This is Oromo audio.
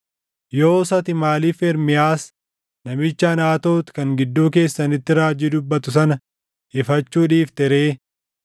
Yoos ati maaliif Ermiyaas namicha Anaatoot kan gidduu keessanitti raajii dubbatu sana ifachuu dhiifte ree?